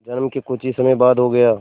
जन्म के कुछ ही समय बाद हो गया